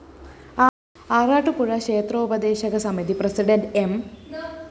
ആറാട്ടുപുഴ ക്ഷേത്രോപദേശകസമിതി president M